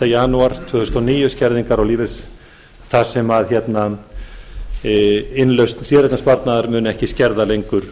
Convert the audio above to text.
janúar tvö þúsund og níu skerðingar á lífeyri þar sem innlausn séreignarsparnaðar mun ekki skerða lengur